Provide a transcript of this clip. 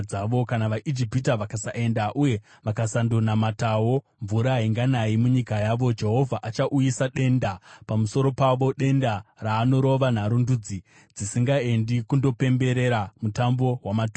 Kana vaIjipita vakasaenda uye vakasandonamatawo, mvura hainganayi munyika yavo. Jehovha achauyisa denda pamusoro pavo, denda raanorova naro ndudzi dzisingaendi kundopemberera Mutambo waMatumba.